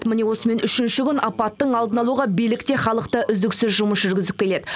міне осымен үшінші күн апаттың алдын алуға билік те халық та үздіксіз жұмыс жүргізіп келеді